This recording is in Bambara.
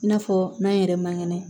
I n'a fɔ n'an yɛrɛ man kɛnɛ